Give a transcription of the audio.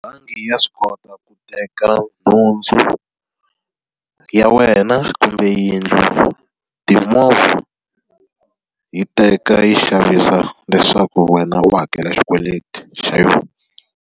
Bangi ya swi kota ku teka nhundzu ya wena kumbe yindlu, timovha. Yi teka yi xavisa leswaku wena u hakela xikweleti xa yona.